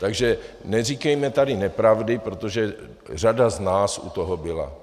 Takže neříkejme tady nepravdy, protože řada z nás u toho byla.